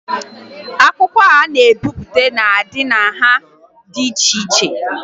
Akwụkwọ a na-ebipụta na-adị na nha dị iche iche